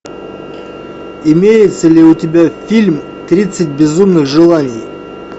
имеется ли у тебя фильм тридцать безумных желаний